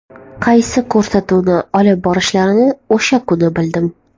Qaysi ko‘rsatuvni olib borishlarini o‘sha kuni bildim.